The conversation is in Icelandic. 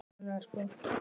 Og hún fiskur í neti.